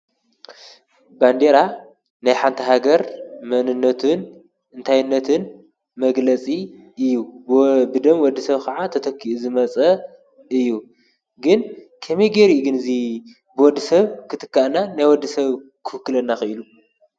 ባንዴራ ናይ ሓንቲ ሃገር መንነትን እንታይነትን መግለጺ እዩ፡፡ ብደም ወዲ ሰብ ኸዓ ተተኪኡ ዝመጸ እዩ፡፡ ግን ከመይ ጌይሩ ግን እዙይ ብወዲ ሰብ ክትካእና ናይ ወዲ ሰብ ክውክለና ኺኢሉ?